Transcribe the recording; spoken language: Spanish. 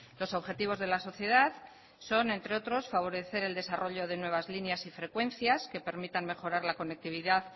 los objetivos de la sociedad son entre otros favorecer el desarrollo de nuevas líneas y frecuencias que permitan mejorar la conectividad